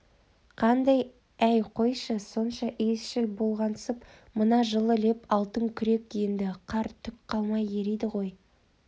қандай әй қойшы сонша иісшіл болғансып мына жылы леп алтынкүрек енді қар түк қалмай ериді ой